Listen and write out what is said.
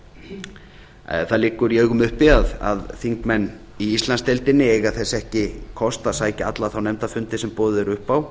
að störfum það liggur í augum uppi að þingmenn í íslandsdeildinni eiga þess ekki kost að sækja alla þá nefndarfundi sem boðið er upp á